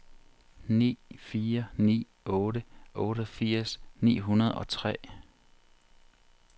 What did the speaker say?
ni fire ni otte otteogfirs ni hundrede og tre